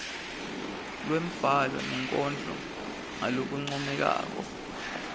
lwembhalo nenkondlo ngalokuncomekako